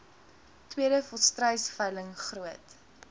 tweede volstruisveiling groot